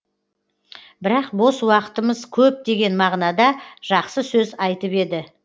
бірақ бос уақытымыз көп деген мағынада жақсы сөз айтып еді